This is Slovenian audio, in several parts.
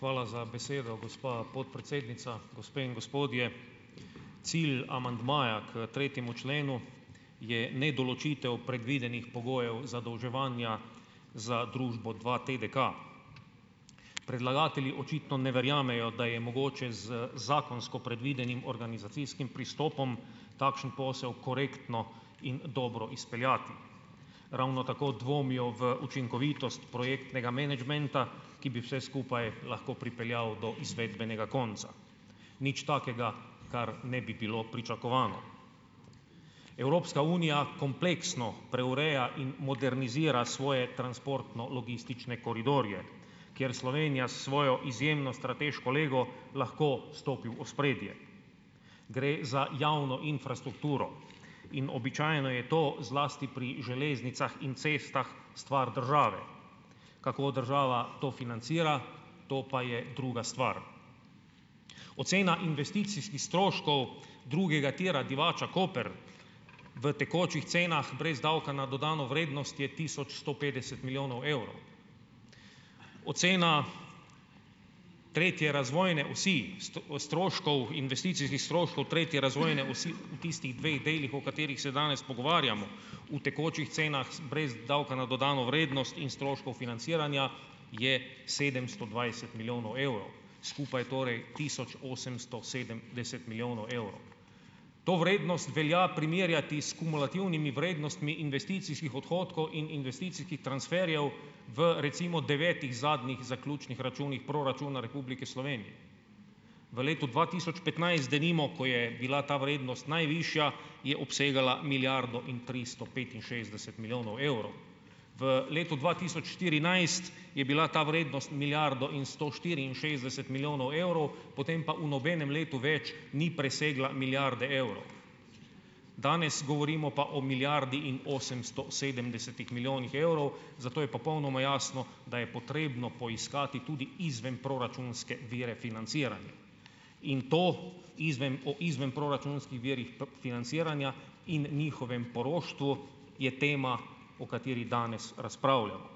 Hvala za besedo, gospa podpredsednica. Gospe in gospodje, cilj amandmaja k tretjemu členu je, ne, določitev predvidenih pogojev zadolževanja za družbo dvaTDK. Predlagatelji očitno ne verjamejo, da je mogoče z zakonsko predvidenim organizacijskim pristopom, takšen posel korektno in dobro izpeljati. Ravno tako dvomijo v učinkovitost projektnega menedžmenta, ki bi vse skupaj lahko pripeljal do izvedbenega konca. Nič takega, kar ne bi bilo pričakovano. Evropska unija kompleksno preureja in modernizira svoje transportno-logistične koridorje, kjer Slovenija s svojo izjemno strateško lego lahko stopi v ospredje. Gre za javno infrastrukturo in običajno je to zlasti pri železnicah in cestah stvar države. Kako država to financira, to pa je druga stvar. Ocena investicijskih stroškov drugega tira Divača Koper, v tekočih cenah brez davka na dodano vrednost je tisoč sto petdeset milijonov evrov. Ocena tretje razvojne osi, stroškov investicijskih stroškov tretje razvojne osi v tistih dveh delih, o katerih se danes pogovarjamo. V tekočih cenah brez davka na dodano vrednost in stroškov financiranja je sedemsto dvajset milijonov evrov. Skupaj torej tisoč osemsto sedemdeset milijonov evrov. To vrednost velja primerjati s kumulativnimi vrednostmi investicijskih odhodkov in investicijskih transferjev v recimo devetih zadnjih zaključnih računih proračuna Republike Slovenije. V letu dva tisoč petnajst denimo, ko je bila ta vrednost najvišja, je obsegala milijardo in tristo petinšestdeset milijonov evrov. V letu dva tisoč štirinajst je bila ta vrednost milijardo in sto štiriinšestdeset milijonov evrov, potem pa v nobenem letu več ni presegla milijarde evrov. Danes govorimo pa o milijardi in osemsto sedemdesetih milijonih evrov. zato je popolnoma jasno, da je potrebno poiskati tudi izvenproračunske vire financiranja. In to o izvenproračunskih virih financiranja in njihovem poroštvu je tema, o kateri danes razpravljamo.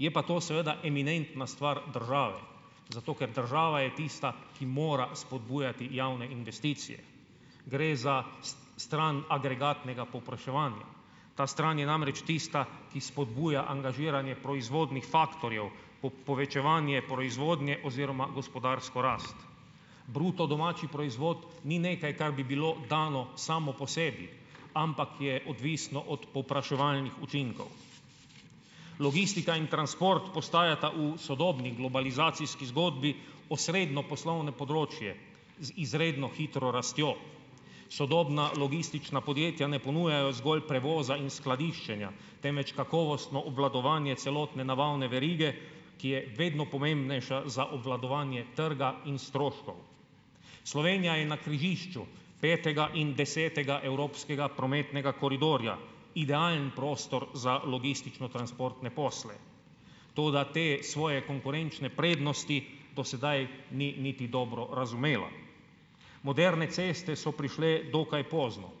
Je pa to seveda eminentna stvar države. Zato ker država je tista, ki mora spodbujati javne investicije. Gre za stran agregatnega povpraševanja. Ta stran je namreč tista, ki spodbuja angažiranje proizvodnih faktorjev, povečevanje proizvodnje oziroma gospodarsko rast. Bruto domači proizvod ni nekaj, kar bi bilo dano samo po sebi, ampak je odvisen od povpraševalnih učinkov. Logistika in transport postajata v sodobni globalizacijski zgodbi osrednje poslovno področje z izredno hitro rastjo. Sodobna logistična podjetja ne ponujajo zgolj prevoza in skladiščenja, temveč kakovostno obvladovanje celotne nabavne verige, ki je vedno pomembnejša za obvladovanje trga in stroškov. Slovenija je na križišču petega in desetega evropskega prometnega koridorja. Idealen prostor za logistično transportne posle. Toda te svoje konkurenčne prednosti do sedaj ni niti dobro razumela. Moderne ceste so prišle dokaj pozno.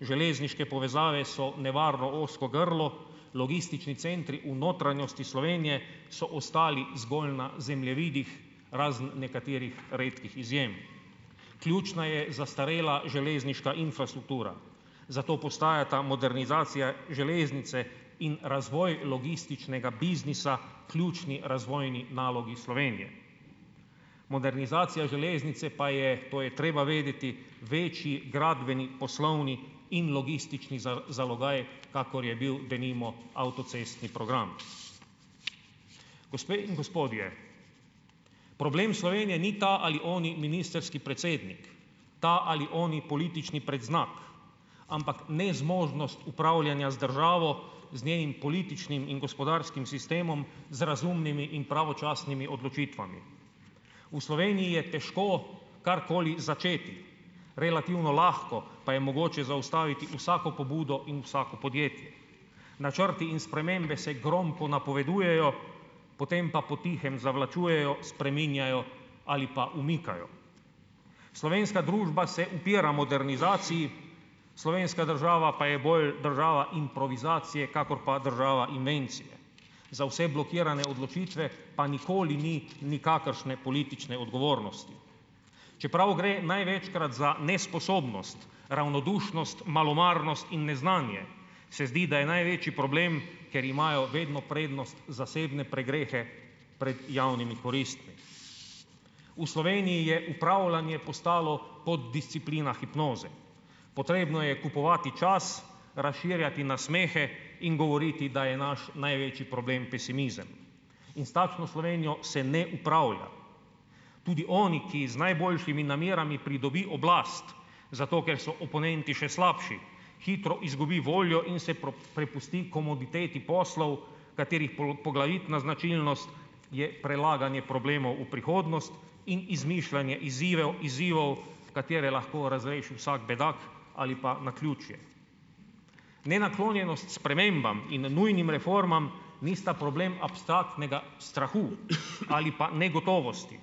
Železniške povezave so nevarno ozko grlo, logistični centri v notranjosti Slovenije so ostali zgolj na zemljevidih, razen nekaterih redkih izjem. Ključna je zastarela železniška infrastruktura, zato postajata modernizacija železnice in razvoj logističnega biznisa ključni razvojni nalogi Slovenije. Modernizacija železnice pa je, to je treba vedeti, večji gradbeni poslovni in logistični zalogaj, kakor je bil denimo avtocestni program. Gospe in gospodje, problem Slovenije ni ta ali oni ministrski predsednik, ta ali oni politični predznak, ampak nezmožnost upravljanja z državo, z njenim političnim in gospodarskim sistemom, z razumnimi in pravočasnimi odločitvami. V Sloveniji je težko karkoli začeti. Relativno lahko pa je mogoče zaustaviti vsako pobudo in vsako podjetje. Načrti in spremembe se gromko napovedujejo, potem pa po tihem zavlačujejo, spreminjajo ali pa umikajo. Slovenska družba se upira modernizaciji, slovenska država pa je bolj država improvizacije, kakor pa država invencije. Za vse blokirane odločitve pa nikoli ni nikakršne politične odgovornosti. Čeprav gre največkrat za nesposobnost, ravnodušnost, malomarnost in neznanje, se zdi, da je največji problem ker imajo vedno prednost zasebne pregrehe pred javnimi koristmi. V Sloveniji je upravljanje postalo poddisciplina hipnoze, potrebno je kupovati čas, razširjati nasmehe in govoriti, da je naš največji problem pesimizem in s takšno Slovenijo se ne upravlja. Tudi oni, ki z najboljšimi namerami pridobi oblast zato, ker so oponenti še slabši, hitro izgubi voljo in se prepusti komoditeti poslov, katerih poglavitna značilnost je prelaganje problemov v prihodnost in izmišljanje izzivov katere lahko razreši vsak bedak ali pa naključje. Nenaklonjenost spremembam in nujnim reformam nista problem abstraktnega strahu ali pa negotovosti,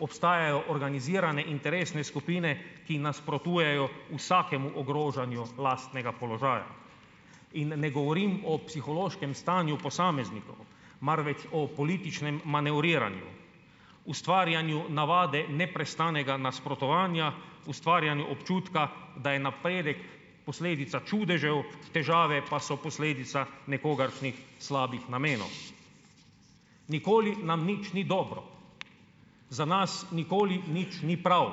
obstajajo organizirane interesne skupine, ki nasprotujejo vsakemu ogrožanju lastnega položaja in ne govorim o psihološkem stanju posameznikov, marveč o političnem manevriranju, ustvarjanju navade neprestanega nasprotovanja, ustvarjanju občutka, da je napredek posledica čudežev, težave pa so posledica nekogaršnjih slabih namenov. Nikoli nam nič ni dobro, za nas nikoli nič ni prav,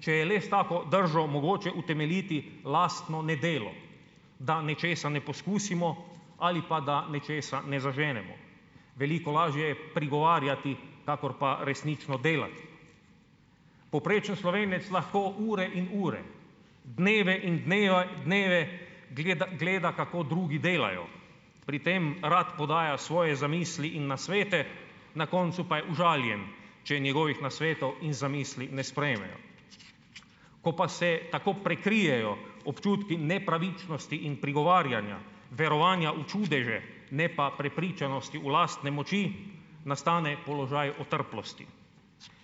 če je le s tako držo mogoče utemeljiti lastno nedelo, da nečesa ne poskusimo ali pa da nečesa ne zaženemo. Veliko lažje prigovarjati kakor pa resnično delati. Povprečen Slovenec lahko ure in ure, dneve in dneve gleda, gleda, kako drugi delajo, pri tem rad podaja svoje zamisli in nasvete, na koncu pa je užaljen, če njegovih nasvetov in zamisli ne sprejmejo. Ko pa se tako prikrijejo občutki nepravičnosti in prigovarjanja, verovanja v čudeže ne pa prepričanosti v lastne moči nastane položaj otrplosti.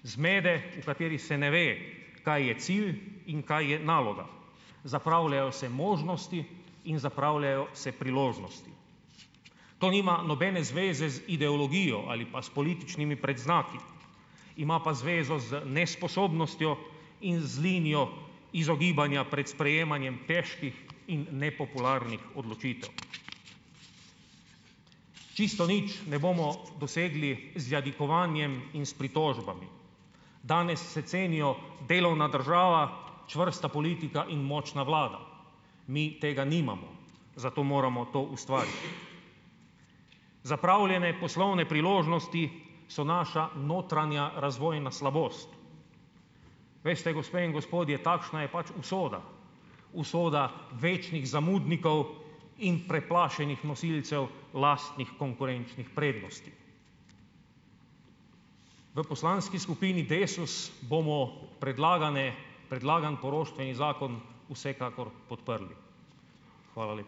Zmede, v kateri se ne ve, kaj je cilj in kaj je naloga, zapravljajo se možnosti in zapravljajo se priložnosti. To nima nobene zveze z ideologijo ali pa s političnimi predznaki, ima pa zvezo z nesposobnostjo in z linijo izogibanja pred sprejemanjem težkih in nepopularnih odločitev. Čisto nič ne bomo dosegli z jadikovanjem in s pritožbami, danes se cenijo delovna država, čvrsta politika in močna vlada, mi tega nimamo zato moramo to ustvariti. Zapravljene poslovne priložnosti so naša notranja razvojna slabost. Veste, gospe in gospodje, takšna je pač usoda, usoda večnih zamudnikov in preplašenih nosilcev lastnih konkurenčnih prednosti. V poslanski skupini Desus bomo predlagane, predlagan poroštveni zakon vsekakor podprli. Hvala